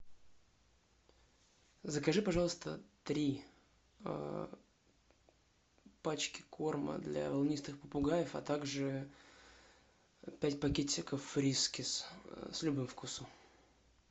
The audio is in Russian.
закажи пожалуйста три пачки корма для волнистых попугаев а также пять пакетиков фрискис с любым вкусом